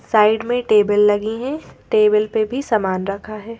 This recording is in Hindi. साइड में टेबल लगी हैं टेबल पे भी सामान रखा है।